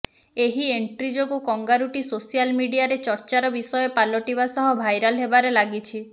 ଏହି ଏଣ୍ଟ୍ରି ଯୋଗୁଁ କଙ୍ଗାରୁଟି ସୋସିଆଲ୍ ମିଡିଆରେ ଚର୍ଚ୍ଚାର ବିଷୟ ପାଲଟିବା ସହିତ ଭାଇରାଲ୍ ହେବାରେ ଲାଗିଛି